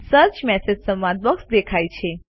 search messages સંવાદ box દેખાય છે